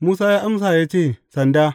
Musa ya amsa ya ce, Sanda.